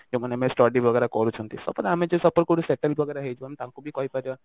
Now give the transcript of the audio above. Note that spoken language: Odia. ଯୋଉ ମାନେ study ୱାଗେର କରୁଛନ୍ତି suppose ଆମେ ଯଦି suppose settle ୱାଗେର ହେଇଯିବା ଆମେ ତାକୁ ବି କହି ପାରିବା